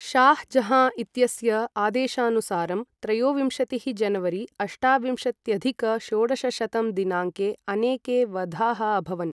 शाह् जहाँ इत्यस्य आदेशानुसारं, त्रयोविंशतिः जनवरी अष्टाविंशत्यधिक षोडशशतं दिनाङ्के अनेके वधाः अभवन्।